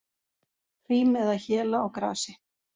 Hrím eða héla á grasi.